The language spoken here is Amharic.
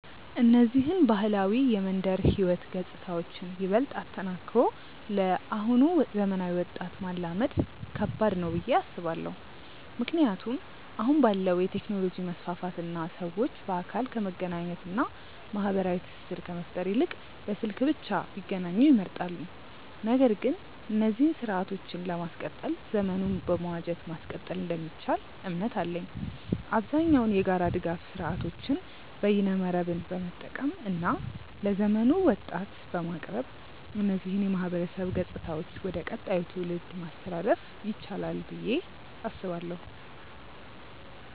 እነዚህን ባህላዊ የመንደር ህይወት ገጽታዎችን ይበልጥ አጠናክሮ ለአሁኑ ዘመናዊ ወጣት ማላመድ ከባድ ነው ብዬ አስባለው። ምክንያቱም አሁን ባለው የቴክኖሎጂ መስፋፋት እና ሰዎች በአካል ከመገናኘት እና ማህበራዊ ትስስር ከመፍጠር ይልቅ በስልክ ብቻ ቢገናኙ ይመርጣሉ። ነገር ግን እነዚህን ስርአቶችን ለማስቀጠል ዘመኑን በመዋጀት ማስቀጠል እንደሚቻል እምነት አለኝ። አብዛኛውን የጋራ ድጋፍ ስርአቶችን በይነመረብን በመጠቀም እና ለዘመኑ ወጣት በማቅረብ እነዚህን የማህበረሰብ ገጽታዎች ወደ ቀጣዩ ትውልድ ማስተላለፍ ይቻላል ብዬ አስባለው።